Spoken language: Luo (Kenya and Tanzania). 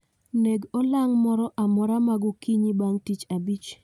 Neg olang' moro amora magokinyi bang' tich abich